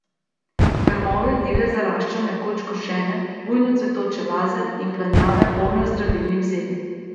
Grmovje divje zarašča nekoč košene, bujno cvetoče laze in planjave, polne zdravilnih zeli.